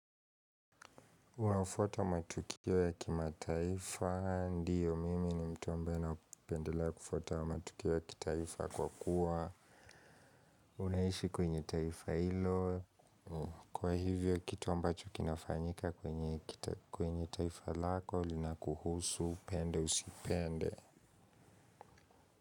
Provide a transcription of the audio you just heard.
Unaufwata matukio ya kimataifa, ndiyo mimi ni mtu ambae napendelea kufuata matukio ya kitaifa kwa kuwa. Unaishi kwenye taifa hilo, kwa hivyo kitu ambacho kinafanyika kwenye taifa lako, lina kuhusu, upende, usipende.